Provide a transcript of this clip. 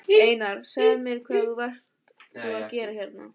Einar, segðu mér hvað varst þú að gera hérna?